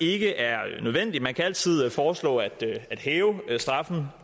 ikke er nødvendigt man kan altid foreslå at hæve straffen